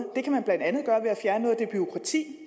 det det bureaukrati